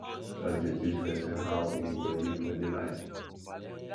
church dey teach pesin how im go live holy life